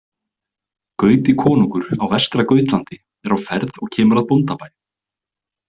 Gauti konungur á Vestra-Gautlandi er á ferð og kemur að bóndabæ.